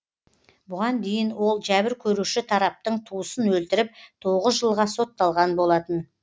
бұған дейін ол жәбір көруші тараптың туысын өлтіріп тоғыз жылға сотталған болатын